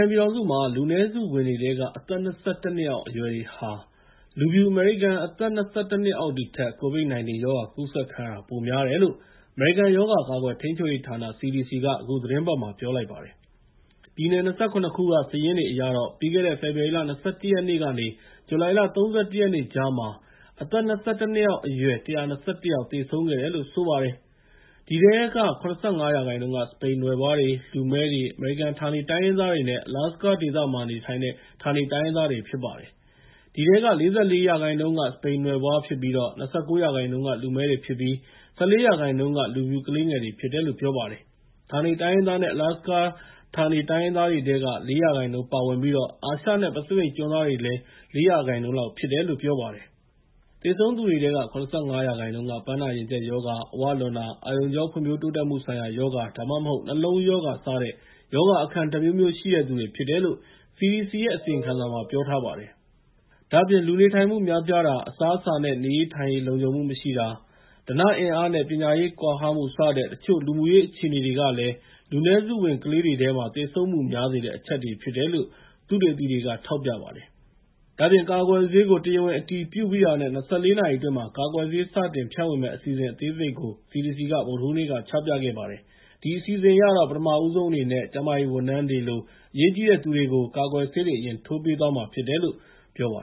န်ပြည်ထောင်စုမှာ လူနည်းစုဝင်တွေထဲက အသက် ၂၁ နှစ်အောက် အရွယ်တွေဟာ လူဖြူအမေရိကန် အသက် ၂၁ နှစ်အောက်တွေထက် COVID-19 ရောဂါကူးစက်ခံရတာ ပိုများတယ်လို့ အမေရိကန်ရောဂါကာကွယ်ထိန်းချုပ်ရေးဌာန (CDC) က အခုသီတင်းပတ်မှာ ပြောကြားလိုက်ပါတယ်။ ပြည်နယ် ၂၇ ခုက စာရင်းတွေအရတော့ ပြီးခဲ့တဲ့ ဖေဖော်ဝါရီလ ၂၁ ရက်ကနေ ဇူလိုင် ၃၁ ရက်ကြားမှာ အသက် ၂၁ နှစ်အောက် အရွယ် ၁၂၁ ယောက်သေဆုံးခဲ့ပါတယ်။ အဲဒီထဲက ၇၅ ရာခိုင်နှုန်းက စပိန်နွယ်ဖွားတွေ၊ လူမည်းတွေ၊ အမေရိကန်ဌာနေ တိုင်းရင်းသားတွေနဲ့ Alasaka ဌာနေ တိုင်းရင်းသားတွေဖြစ်ပါတယ်။ အဲဒီထဲမှာ ၄၄ ရာခိုင်နှုန်းက စပိန်နွယ်ဖွား၊ ၂၉ ရာခိုင်နှုန်းက လူမည်းတွေဖြစ်ပြီး ၁၄ ရာခိုင်နှုန်းကပဲ လူဖြူ ကလေးငယ်တွေဖြစ်တယ်လို့ ပြောပါတယ်။ ဌာနေတိုင်းရင်းသားနဲ့ Alaska ဌာနေတိုင်းရင်းသားတွေထဲက ၄ ရာခိုင်နှုန်းဖြစ်ပြီး အာရှနဲ့ ပစိဖိတ်ကျွန်းသားတွေကလည်း ၄ ရာခိုင်နှုန်း လောက်ဖြစ်တယ်လို့ ပြောပါတယ်။ သေဆုံးတဲ့သူတွေထဲက ၇၅ ရာခိုင်နှုန်းက ပန်းနာရင်ကြပ်ရောဂါ၊ အဝလွန်တာ၊ အာရုံကြောနဲ့ ဖွံ့ဖြိုးတိုးတက်မှုဆိုင်ရာရောဂါ ဒါမှမဟုတ် နှလုံးရောဂါစတဲ့ ရောဂါအခံတမျိုးမျိုးရှိတဲ့သူတွေဖြစ်တယ်လို့ CDC ရဲ့ အစီရင်ခံစာထဲမှာ ပြောထားပါတယ်။ ဒါ့အပြင် လူနေထိုင်မှုများပြားတာ၊ အစားအစာနဲ့ နေရေးထိုင်ရေး လုံခြုံမှုမရှိတာ၊ ဓနအင်အားနဲ့ပညာရေးကွာဟမှုစတဲ့ တချို့ လူမှုရေးအခြေအနေတွေကလည်း လူနည်းစုဝင်ကလေးတွေထဲမှာ သေဆုံးမှုများစေတဲ့ အချက်တွေဖြစ်တယ်လို့ သုတေသီတွေက ထောက်ပြပါတယ်။ ဒါ့အပြင် ကာကွယ်ဆေးကို တရားဝင်အတည်ပြုပြီးတာနဲ့ ၂၄ နာရီအတွင်း ကာကွယ်ဆေး စတင်ဖြန့်ဝေမယ့် အစီအစဉ်အသေးစိတ်ကို CDC က ဗုဒ္ဓဟူးနေ့က ချပြခဲ့ပါတယ်။ အဲဒီအစီအစဉ်အရတော့ ပထမဦးဆုံးအနေနဲ့ ကျန်းမာရေးဝန်ထမ်းတွေလို အရေးကြီးတဲ့သူတွေကို ကာကွယ်ဆေး အရင်ထိုးပေးသွားမှာဖြစ်တယ်လို့ ပြောပါ